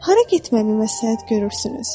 Hara getməyi məsləhət görürsünüz?